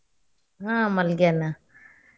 ಆಹ್ ಮಲಗ್ಯಾನ.